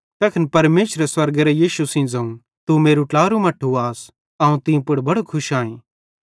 तैखन परमेशरे स्वर्गेरां यीशु सेइं ज़ोवं तू मेरू ट्लारू मट्ठू आस अवं तीं पुड़ बड़ो खुश आईं